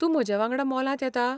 तूं म्हजे वांगडा मॉलांत येता ?